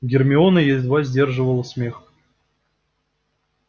гермиона едва сдерживала смех